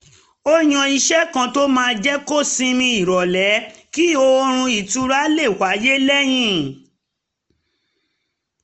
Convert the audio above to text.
ó yan ìṣe kan tó máa jẹ́ kó sinmi nírọ̀lẹ́ kí oorun ìtura lè wáyé lẹ́yìn